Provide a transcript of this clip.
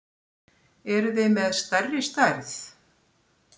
Eruð þið með stærri stærð?